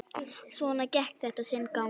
Svona gekk þetta sinn gang.